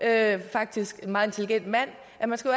er faktisk en meget intelligent mand at man